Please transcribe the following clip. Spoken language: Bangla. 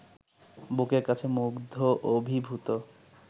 বুকের কাছে মুগ্ধ অভিভূত